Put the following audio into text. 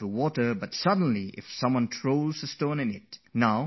Suddenly someone throws a stone into the water and there are ripples on the surface